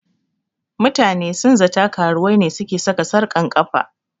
Mutane sun zata karuwai ne suke sarka sarƙan kafa